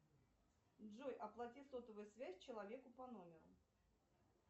джой оплати сотовую связь человеку по номеру